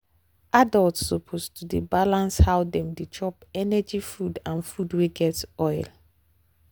adults suppose to dey balance how dem dey chop energy food and food wey get oil.